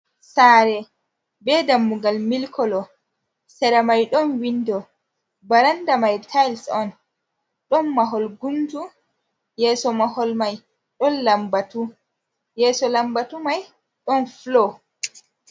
Saare be dammugal milik kolo sera mai ɗon windo, baranda mai tiles on, ɗon mahol guntu mahol yeso mahol ɗon lambatu yeso lambatu mai ɗon floor.